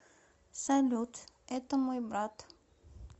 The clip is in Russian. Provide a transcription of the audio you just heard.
салют это мой брат